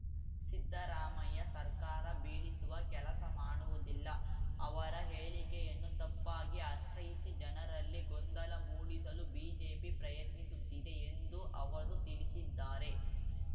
ಸಿದ್ದರಾಮಯ್ಯ ಸರ್ಕಾರ ಬೀಳಿಸುವ ಕೆಲಸ ಮಾಡುವುದಿಲ್ಲ ಅವರ ಹೇಳಿಕೆಯನ್ನು ತಪ್ಪಾಗಿ ಅರ್ಥೈಸಿ ಜನರಲ್ಲಿ ಗೊಂದಲ ಮೂಡಿಸಲು ಬಿಜೆಪಿ ಪ್ರಯತ್ನಿಸುತ್ತಿದೆ ಎಂದೂ ಅವರು ತಿಳಿಸಿದ್ದಾರೆ